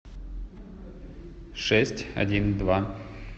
шесть один два